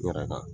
N yɛrɛ kan